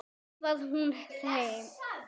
skrifar hún heim.